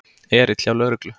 Erill hjá lögreglu